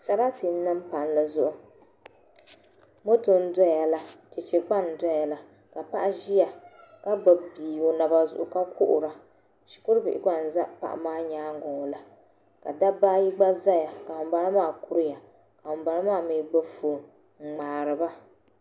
Sarati n niŋ palli zuɣu moto n doya la chɛchɛ gba n doya la ka paɣa ʒiya ka gbubi bia o naba zuɣu ka kuhura shikuru bihi gba n ʒɛ paɣa maa nyaangi ŋo la ka dabba ayi gba ʒɛya ka ŋunbala maa kuriya ka ŋunbala maa mii gbubi foon n ŋmaariba